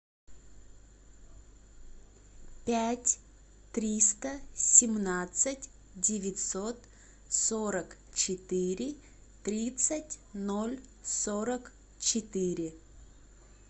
пять триста семнадцать девятьсот сорок четыре тридцать ноль сорок четыре